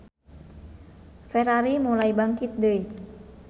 Ferrari mulai bangkit deui.